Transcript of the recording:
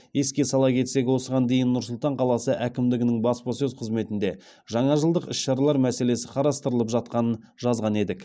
еске сала кетсек осыған дейін нұр сұлтан қаласы әкімдігінің баспасөз қызметінде жаңажылдық іс шаралар мәселесі қарастырылып жатқанын жазған едік